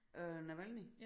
Øh Navalnyj